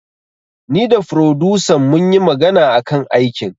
Ni da furodusan munyi magana akan aikin